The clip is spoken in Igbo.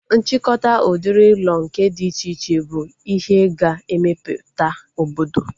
Nchịkọta udiri ụlọ nke dị iche iche bụ ihe ga-emeputa obodo